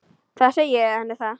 Þá segi ég henni það.